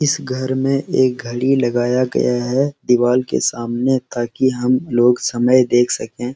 इस घर में एक घड़ी लगाया है दीवाल के सामने ताकि हमलोग समय देख सके।